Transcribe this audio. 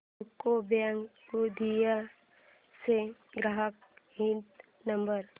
UCO bank Gondia चा ग्राहक हित नंबर